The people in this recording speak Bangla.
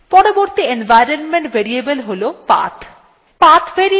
পরবর্তী environment variable হল path